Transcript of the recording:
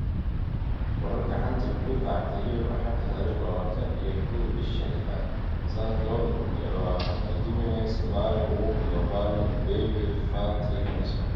Wararka xanta kubada cagta Yurub Axad tariq labatan iyo kow, bisha lixad, sanadka labada kun iyo labatanka: Jimenez, Mane, Walker, Cavani, Bailey, Fati, Henderson